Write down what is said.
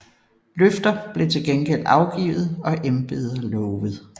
Løfter blev til gengæld afgivet og embeder lovet